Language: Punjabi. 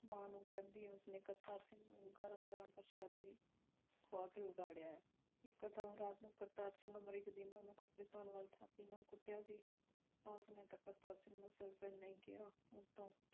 ਮਾਂ ਨੂੰ ਕਹਿੰਦੀ ਉਸ ਨੇ ਕਰਤਾਰ ਸਿੰਘ ਨੂੰ ਗਰਮ ਗਰਮ ਪ੍ਰਸ਼ਾਦੇ ਖਵਾ ਕੇ ਵਿਗੜਿਆ ਐ। ਇਕ ਦਿਨ ਰਾਤ ਨੂੰ ਕਰਤਾਰ ਸਿੰਘ ਅਮਰੀਕ ਦੀ ਮਾਂ ਨੂੰ ਕਪੜੇ ਧਾਉਣ ਵਾਲੀ ਥਾਪੀ ਨਾਲ ਕੁੱਟਿਆ ਸੀ ਉਸ ਨੇ ਕਰਤਾਰ ਸਿੰਘ ਨੂੰ ਸਿਰਫ ਇੰਨਾ ਹੀ ਕਿਹਾ। ਉਸ ਤੋਂ